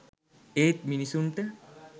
ඒත් මිණිස්සුන්ට